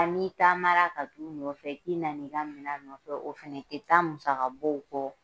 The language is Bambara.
A n'i taama ka t'u nɔfɛ k'i nana i ka minɛn nɔfɛ o fana tɛ taa musakabɔw kɔ